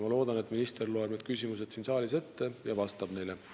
Ma loodan, et minister loeb need küsimused siin saalis ette ja vastab neile.